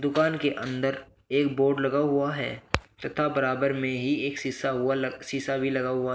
दुकान के अंदर एक बोर्ड लगा हुआ है तथा बराबर में ही एक शीशा हुआ शीशा भी लगा हुआ--